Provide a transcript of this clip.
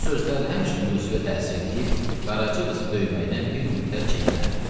Bu sözlər həmişə Yusifə təsir eləyib, Qaraca qızı döyməkdən bir müddət çəkinərdi.